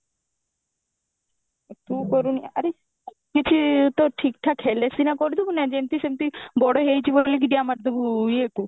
ତୁ କରୁନୁ ଆରେ କିଛି ତ ଠିକ ଠାକ ହେଲେ ସିନା କରିଦବୁ ନା ଯେମତି ସେମତି ବଡ ହେଇଯିବ ବୋଲିକି ଡିଆଁ ମାରିଦବୁ ଇଏକୁ